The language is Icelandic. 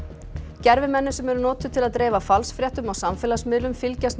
Gervimenni sem eru notuð til að dreifa falsfréttum á samfélagsmiðlum fylgjast með